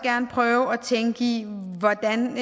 gerne prøve at tænke i hvordan